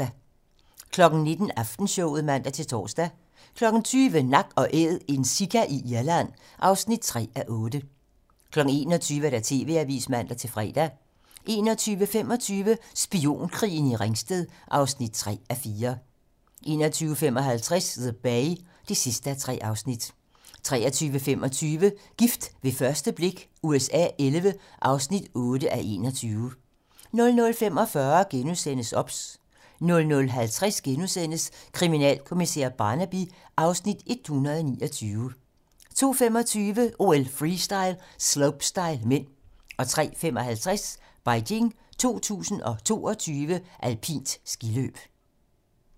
19:00: Aftenshowet (man-tor) 20:00: Nak & Æd - en sika i Irland (3:8) 21:00: TV-Avisen (man-fre) 21:25: Spionkrigen i Ringsted (3:4) 21:55: The Bay (3:3) 23:25: Gift ved første blik USA XI (8:21) 00:45: OBS * 00:50: Kriminalkommissær Barnaby (Afs. 129)* 02:25: OL: Freestyle - slopestyle (m) 03:55: Beijing 2022: Alpint skiløb